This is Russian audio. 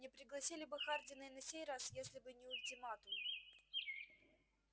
не пригласили бы хардина и на сей раз если бы не ультиматум